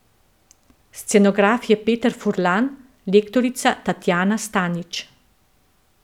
Scenograf je Peter Furlan, lektorica Tatjana Stanič.